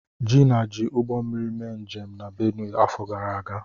Gina ji Ụgbọmmiri mee njem na Benue afọ gara aga.